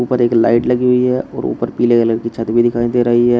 ऊपर एक लाइट लगी हुई है और ऊपर पीले कलर की छत भी दिखाई दे रही है।